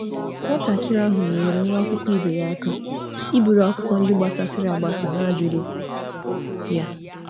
Nwa ahụ nyere nwa klas ya aka chịkọta akwụkwọ ndị gbasasịrị n’arịọghị ya.